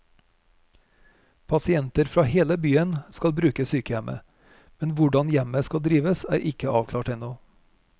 Pasienter fra hele byen skal bruke sykehjemmet, men hvordan hjemmet skal drives er ikke avklart ennå.